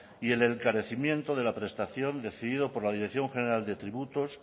y el encarecimiento de la prestación decidido por la dirección general de tributos